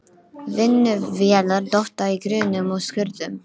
Vinnuvélar dotta í grunnum og skurðum.